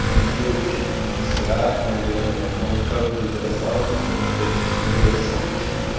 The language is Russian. ну девушек пятьдесят наверное но он каждую бросал потому что ему становилось скучно